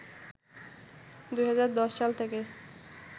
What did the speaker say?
২০১০ সাল থেকে